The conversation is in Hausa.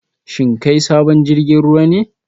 Shin kai sabon jirgin ruwa ne?